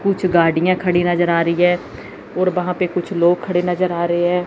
कुछ गाड़ियां खड़ी नजर आ रही है और वहां पे कुछ लोग खड़े नजर आ रहे हैं।